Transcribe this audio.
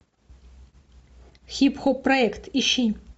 хип хоп проект ищи